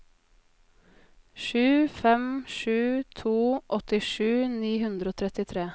sju fem sju to åttisju ni hundre og trettitre